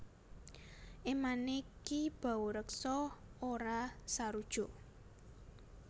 Emane Ki Baureksa ora sarujuk